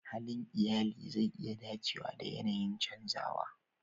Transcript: Halin iyali zai iya dacewa da yanayin canzawa.